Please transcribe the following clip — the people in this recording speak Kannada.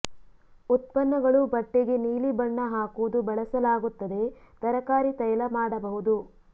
ಉತ್ಪನ್ನಗಳು ಬಟ್ಟೆಗೆ ನೀಲಿ ಬಣ್ಣ ಹಾಕುವುದು ಬಳಸಲಾಗುತ್ತದೆ ತರಕಾರಿ ತೈಲ ಮಾಡಬಹುದು